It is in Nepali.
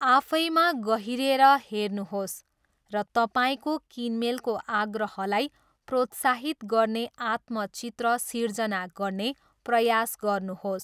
आफैमा गहिरेर हेर्नुहोस् र तपाईँको किनमेलको आग्रहलाई प्रोत्साहित गर्ने आत्मचित्र सिर्जना गर्ने प्रयास गर्नुहोस्।